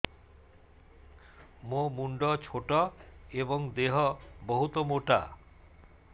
ମୋ ମୁଣ୍ଡ ଛୋଟ ଏଵଂ ଦେହ ବହୁତ ମୋଟା